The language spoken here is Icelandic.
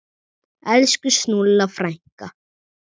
Elsku Snúlla frænka.